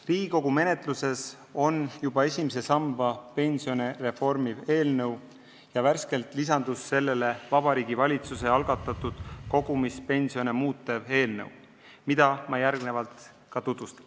Riigikogu menetluses on juba esimese samba pensione reformiv eelnõu ja värskelt lisandus sellele Vabariigi Valitsuse algatatud kogumispensione muutev eelnõu, mida ma järgnevalt tutvustan.